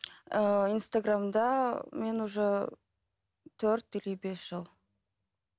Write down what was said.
ыыы инстаграмда мен уже төрт или бес жыл